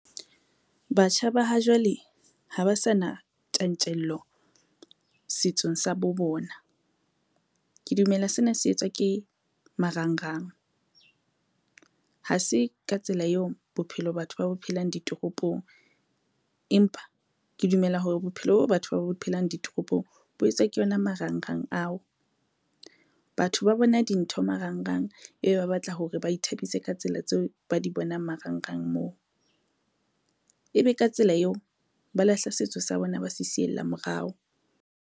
Batjha ba ha jwale ha ba sa na tjantjello setsong sa bo bona. Ke dumela sena se etswa ke marangrang, ha se ka tsela eo bophelo batho ba bo phelang ditoropong, empa ke dumela hore bophelo bo batho ba bo phelang ditoropong bo etswa ke yona marangrang ao. Batho ba bona dintho marangrang, ebe ba batla hore ba ithabise ka tsela tseo ba di bonang marangrang moo, ebe ka tsela eo ba lahla setso sa bona, ba se siella morao.